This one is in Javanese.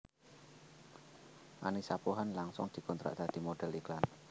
Annisa Pohan langsung dikontrak dadi modhél iklan